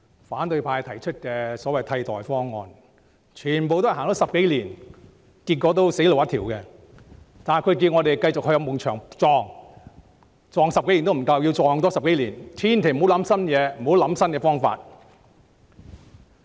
反對派提出的所謂替代方案推行了10多年，結果全是死路一條，但他們要我們繼續碰壁，碰了10多年也不夠，還要多碰10多年，千萬不要提出新思維、新方法。